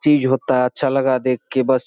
चीज होता है अच्छा लगा देख के बस।